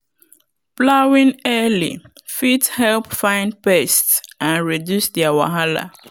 plowing early fit help find pests and reduce their wahala.